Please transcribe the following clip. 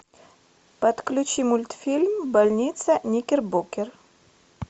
подключи мультфильм больница никербокер